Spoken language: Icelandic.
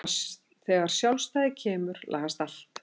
Þegar sjálfstæðið kemur lagast allt.